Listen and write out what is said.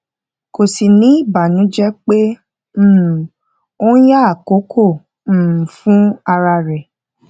kò sì ní ìbànújẹ pé um ó ń ya àkókò um fún ara rẹ